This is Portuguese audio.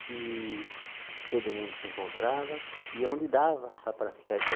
que todo mundo se encontrava e ia onde dava para praticar isso aí.